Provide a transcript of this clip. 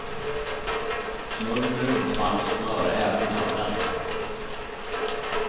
Smörj med rumsvarmt smör, även hörnen.